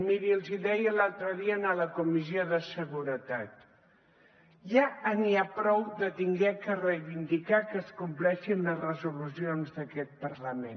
miri els hi deia l’altre dia en la comissió de seguretat ja n’hi ha prou d’haver de reivindicar que es compleixin les resolucions d’aquest parlament